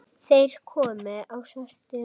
Þeir komu á svörtum